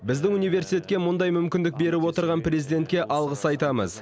біздің университетке мұндай мүмкіндік беріп отырған президентке алғыс айтамыз